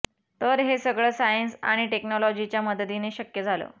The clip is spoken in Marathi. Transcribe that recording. तर हे सगळं सायन्स आणि टेक्नॉलॉजीच्या मदतीने शक्य झालं